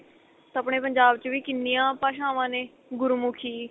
ਤਾਂ ਆਪਣੇ ਪੰਜਾਬ ਚ ਵੀ ਕਿੰਨੀਆਂ ਭਾਸ਼ਾਵਾਂ ਨੇ ਗੁਰਮੁੱਖੀ